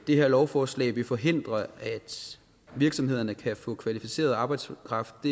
det her lovforslag vil forhindre at virksomhederne kan få kvalificeret arbejdskraft